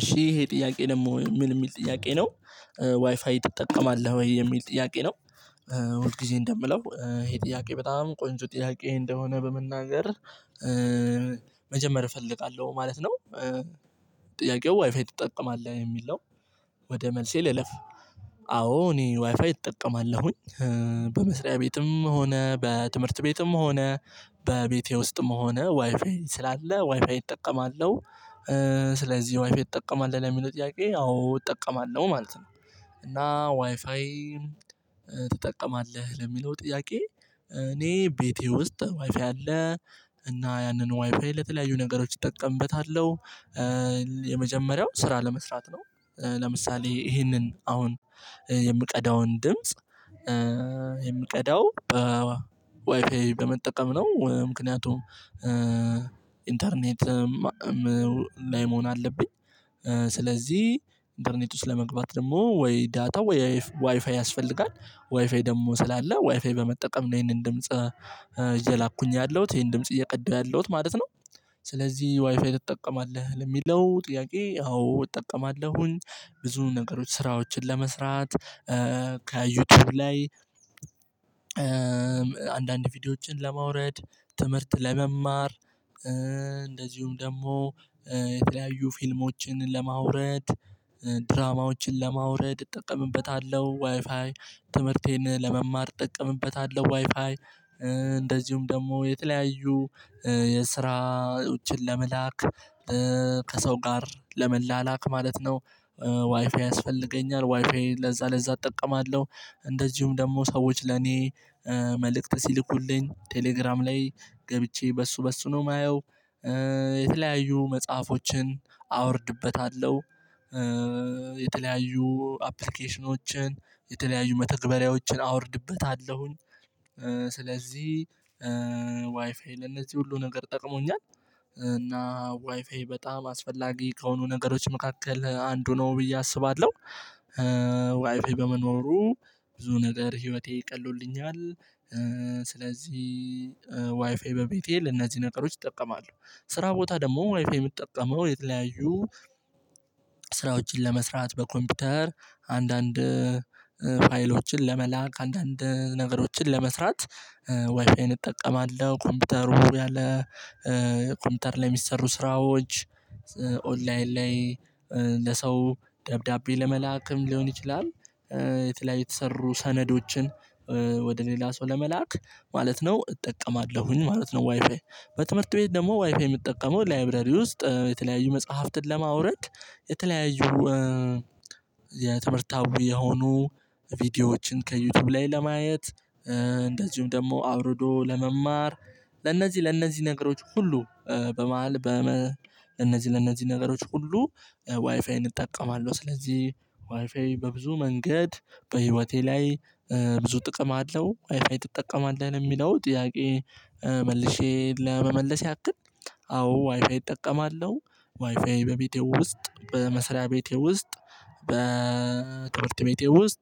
እሺ ይሄ ጥያቄ ደግሞ ምን የሚል ጥያቄ ነው ዋይፋይ ትጠቀማለህ ወይ የሚል ጥያቄ ነው? ሁል ጊዜ እንደምለው ይሄ ጥያቄ በጣም ቆንጆ ጥያቄ እንደሆነ በመናገር መጀመር እፈልጋለሁ ማለት ነው። ጥያቄው ዋይፋይ ትጠቀማለህ የሚል ነው። ወደ መልሴ ልለፍ። አዎ እኔ ዋይፋይ እጠቀማለሁኝ። በመስሪያ ቤትም ሆነ በትምህርት ቤትም ሆነ በቤቴ ውስጥም ሆነ ዋይፋይ ስላለ ዋይፋይ እጠቀማለሁ። ስለዚህ ዋይፋይ ትጠቀማለህ ለሚለው ጥያቄ አዎ እጠቀማለሁ ማለት ነው። እና ዋይፋይ ትጠቀማለህ ለሚለው ጥያቄ እኔ ቤቴ ውስጥ ዋይፋይ አለ እና ያንን ዋይፋይ ለተለያዩ ነገሮች እጠቀምበታለሁ። የመጀመሪያው ስራ ለመስራት ነው። ለምሳሌ ይሄንን አሁን የምቀዳውን ድምጽ የምቀዳው በዋይፋይ በመጠቀም ነው ምክንያቱም ኢንተርኔት ላይ መሆን አለብኝ። ስለዚህ ኢንተርኔት ውስጥ ለመግባት ደግሞ ወይ ዳታ ወይ ዋይፋይ ያስፈልጋል ዋይፋይ ደግሞ ስላለ ዋይፋይ በመጠቀም ነው ይሄንን ድምጽ እየላኩኝ ያለሁት ይሄን ድምጽ እየቀዳሁ ያለሁት ማለት ነው። ስለዚህ ዋይፋይ ትጠቀማለህ ለሚለው ጥያቄ አዎ እጠቀማለሁኝ። ብዙ ነገሮች ስራዎችን ለመስራት ከዩቲዩብ ላይ አንዳንድ ቪዲዮዎችን ለማውረድ ትምህርት ለመማር እንደዚሁም ደግሞ የተለያዩ ፊልሞችን ለማውረድ ድራማዎችን ለማውረድ እጠቀምበታለሁ። ዋይፋይ ትምህርቴን ለመማር እጠቀምበታለሁ ዋይፋይ እንደዚሁም ደግሞ የተለያዩ ስራዎችን ለመላክ ከሰው ጋር ለመላላክ ማለት ነው። ዋይፋይ ያስፈልገኛል ዋይፋይ ለዛ ለዛ እጠቀማለሁ እንደዚሁም ደግሞ ሰዎች ለኔ መልእክት ሲልኩልኝ ቴሌግራም ላይ ገብቼ በሱ በሱ ነው የማየው። የተለያዩ መጽሐፎችን አወርድበታለሁ። የተለያዩ አፕሊኬሽኖችን የተለያዩ መተግበሪያዎችን አወርድበታለሁኝ። ስለዚህ ዋይፋይ ለእነዚህ ሁሉ ነገር ጠቅሞኛል። እና ዋይፋይ በጣም አስፈላጊ ከሆኑ ነገሮች መካከል አንዱ ነው ብዬ አስባለሁ። ዋይፋይ በመኖሩ ብዙ ነገር ህይወቴ ቀሎልኛል። ስለዚህ ዋይፋይ በቤቴ ለነዚህ ነገሮች እጠቀማለሁ። ስራ ቦታ ደግሞ ዋይፋይ ምጠቀመው የተለያዩ ስራዎችን ለመስራት በኮምፒውተር አንዳንድ ፋይሎችን ለመላክ አንዳንድ ነገሮችን ለመስራት ዋይፋይን እጠቀማለሁ ኮምፒውተሩ ያለ ኮምፒውተር ላይ የሚሰሩ ስራዎች ኦንላይን ላይ ለሰው ደብዳቤ ለመላክም ሊሆን ይችላል። የተለያየ የተሰሩ ሰነዶችን ወደ ሌላ ሰው ለመላክ ማለት ነው እጠቀማለሁኝ ማለት ነው። ዋይፋይ በትምህርት ቤት ደግሞ ዋይፋይ የምጠቀመው ላይብረሪ ውስጥ የተለያዩ መጽሐፍትን ለማውረድ የተለያዩ የትምህርታዊ የሆኑ ቪዲዮዎችን ከዩቲዩብ ላይ ለማየት እንደዚሁም ደግሞ አውርዶ ለመማር ለእነዚህ ለእነዚህ ነገሮች ሁሉ በመሃል ለእነዚህ ለእነዚህ ነገሮች ሁሉ ዋይፋይን እጠቀማለሁ። ስለዚህ ዋይፋይ በብዙ መንገድ በህይወቴ ላይ ብዙ ጥቅም አለው። ዋይፋይ ትጠቀማለህ ለሚለው ጥያቄ መልሼ ለመመለስ ያክል አዎ ዋይፋይ እጠቀማለሁ። ዋይፋይ በቤቴ ውስጥ በመስሪያ ቤቴ ውስጥ በትምህርት ቤቴ ውስጥ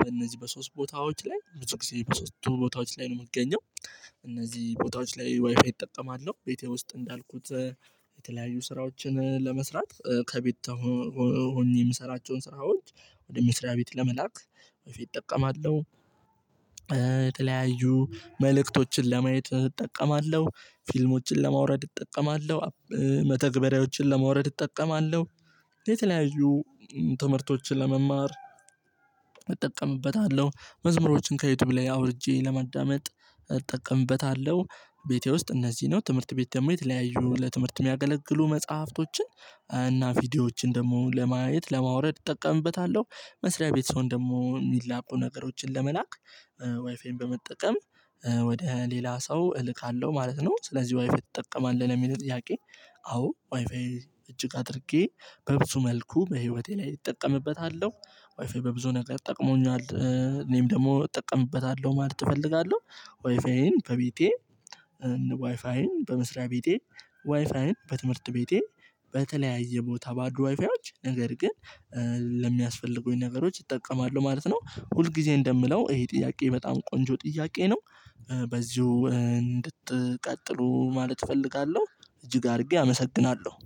በእነዚህ በሶስት ቦታዎች ላይ ብዙ ጊዜ በሶስቱ ቦታዎች ላይ ነው የምገኘው እነዚህ ቦታዎች ላይ ዋይፋይ እጠጣለሁ ቤቴ ውስጥ እንዳልኩት የተለያዩ ስራዎችን ለመስራት ከቤት ሆኜ የምሰራቸውን ስራዎች ወደ ምስሪያ ቤት ለመላክ ዋይፋይ እጠቀማለሁ። የተለያዩ መልእክቶችን ለማየት እጠቀማለሁ ፊልሞችን ለማውረድ እጠቀማለሁ መተግበሪያዎችን ለማውረድ እጠቀማለሁ የተለያዩ ትምህርቶችን ለመማር እጠቀምበታለሁ መዝሙሮችን ከዩቲዩብ ላይ አውርጄ ለማዳመጥ እጠቀምበታለሁ። ቤቴ ውስጥ እነዚህ ነው ትምህርት ቤት ደግሞ የተለያዩ ለትምህርት የሚያገለግሉ መጽሐፍቶችን እና ቪዲዮዎችን ደግሞ ለማየት ለማውረድ እጠቀምበታለሁ። መስሪያ ቤት ስሆን ደግሞ ሚላኩ ነገሮችን ለመላክ ዋይፋይን በመጠቀም ወደ ሌላ ሰው እልካለሁ ማለት ነው። ስለዚህ ዋይፋይ ትጠቀማለህ ለሚለው ጥያቄ? አዎ ዋይፋይ እጅግ አድርጌ በብዙ መልኩ በህይወቴ ላይ እጠቀምበታለሁ። ዋይፋይ በብዙ ነገር ጠቅሞኛል እኔም ደግሞ እጠቀምበታለሁ ማለት እፈልጋለሁ። ዋይፋዬን በቤቴ ዋይፋዬን በመስሪያ ቤቴ ዋይፋይን በትምህርት ቤቴ በተለያየ ቦታ ባሉ ዋይፋዮች ነገር ግን ለሚያስፈልጉኝ ነገሮች እጠቀማለሁ ማለት ነው። ሁል ጊዜ እንደምለው ይሄ ጥያቄ በጣም ቆንጆ ጥያቄ ነው። በዚሁ እንድትቀጥሉ ማለት እፈልጋለሁ። እጅግ አድርጌ አመሰግናለሁ